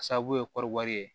A sababu ye kɔɔri wari ye